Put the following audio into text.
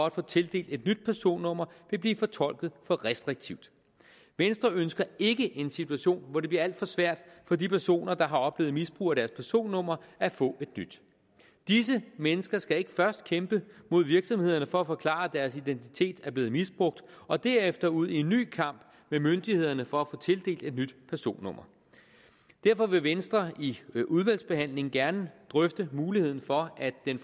at få tildelt et nyt personnummer vil blive fortolket for restriktivt venstre ønsker ikke en situation hvor det bliver alt svært for de personer der har oplevet misbrug af deres personnummer at få et nyt disse mennesker skal ikke først kæmpe mod virksomhederne for at forklare at deres identitet er blevet misbrugt og derefter ud i en ny kamp med myndighederne for at få tildelt et nyt personnummer derfor vil venstre i udvalgsbehandlingen gerne drøfte muligheden for at den